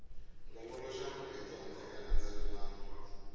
longoloxela marito handle ka nandzelelano